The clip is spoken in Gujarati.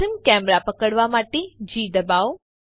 પ્રથમ કેમેરા પકડવા માટે જી દબાવો